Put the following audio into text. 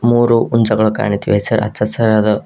ಮೂರು ಹುಂಜಗಳು ಕಾಣುತ್ತಿವೆ ಹಚ್ಚ ಹಸಿರಾದ--